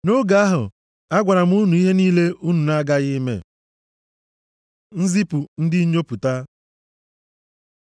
Nʼoge ahụ, agwara m unu ihe niile unu na-aghaghị ime. Nzipụ ndị Nnyopụta